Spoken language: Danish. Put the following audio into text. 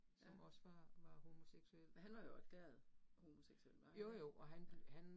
Ja. Men han var jo erklæret homoseksuel, var han ikke? Ja